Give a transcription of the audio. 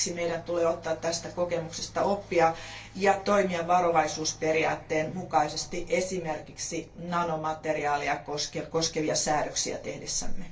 Siksi meidän tulee ottaa tästä kokemuksesta oppia ja toimia varovaisuusperiaatteen mukaisesti esimerkiksi nanomateriaaleja koskevia säädöksiä tehdessämme.